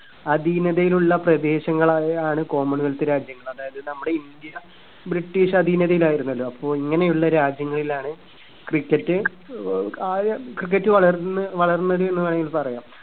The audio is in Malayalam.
അതീനതയിലുള്ള പ്രദേശങ്ങളായാണ് common wealth രാജ്യങ്ങൾ അതായത് നമ്മുടെ ഇന്ത്യ british അതീനതയിലായിരുന്നല്ലോ അപ്പൊ ഇങ്ങനെയുള്ള രാജ്യങ്ങളിലാണ് cricket ഏർ ആദ്യ cricket വളർന്ന് വളർന്നത് എന്ന് വേണെങ്കിൽ പറയാം